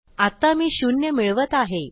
आत्ता मी शून्य मिळवत आहे